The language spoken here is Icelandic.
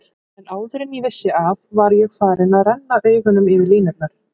En áður en ég vissi af var ég farinn að renna augunum yfir línurnar.